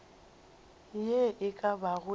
ye e ka bago e